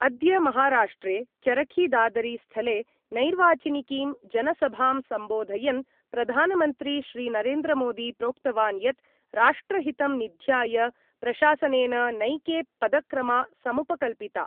अद्य महाराष्ट्रे चरखीदादरीस्थले नैर्वाचनिकीं जनसभां सम्बोधयन् प्रधानमन्त्री श्री नरेन्द्रमोदी प्रोक्तवान् यत् राष्ट्रहितं निध्याय प्रशासनेन नैके पदक्रमा समुपकल्पिता।